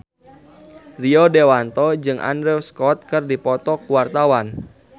Rio Dewanto jeung Andrew Scott keur dipoto ku wartawan